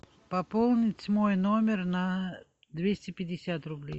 пополнить мой номер на двести пятьдесят рублей